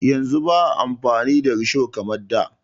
Yanzu ba a amfani da risho kamar da.